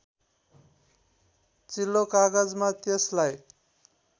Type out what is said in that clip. चिल्लो कागजमा त्यसलाई